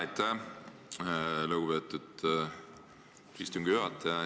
Aitäh, lugupeetud istungi juhataja!